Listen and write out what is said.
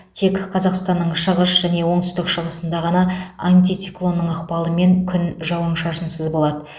тек қазақстанның шығыс және оңтүстік шығысында ғана антициклонның ықпалымен күн жауын шашынсыз болады